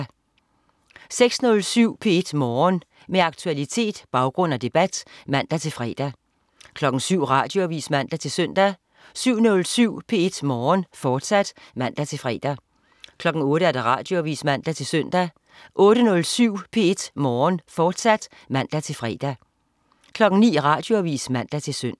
06.07 P1 Morgen. Med aktualitet, baggrund og debat (man-fre) 07.00 Radioavis (man-søn) 07.07 P1 Morgen, fortsat (man-fre) 08.00 Radioavis (man-søn) 08.07 P1 Morgen, fortsat (man-fre) 09.00 Radioavis (man-søn)